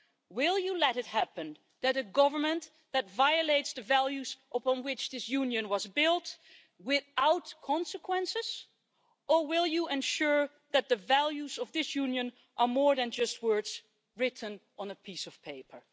Will you let a government violate the values upon which this Union was built without consequences, or will you ensure that the values of this Union are more than just words written on a piece of paper?